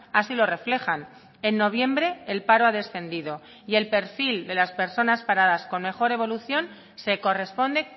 así lo reflejan en noviembre el paro ha descendido y el perfil de las personas paradas con mejor evolución se corresponde